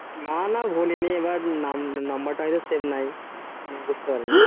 না না ভুলিনি এবার number টা হয়তো save নাই দিয়ে বুজতে পারিনি